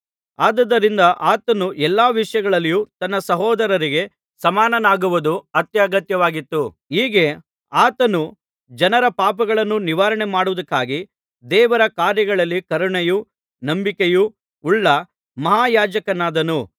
ಆದುದರಿಂದ ಆತನು ಎಲ್ಲಾ ವಿಷಯಗಳಲ್ಲಿಯೂ ತನ್ನ ಸಹೋದರರಿಗೆ ಸಮಾನನಾಗುವುದು ಅತ್ಯಗತ್ಯವಾಗಿತ್ತು ಹೀಗೆ ಆತನು ಜನರ ಪಾಪಗಳನ್ನು ನಿವಾರಣೆ ಮಾಡುವುದಕ್ಕಾಗಿ ದೇವರ ಕಾರ್ಯಗಳಲ್ಲಿ ಕರುಣೆಯೂ ನಂಬಿಕೆಯೂ ಉಳ್ಳ ಮಹಾಯಾಜಕನಾದನು